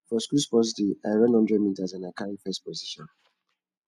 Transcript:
for school sports day i run one hundred meters and i carry first position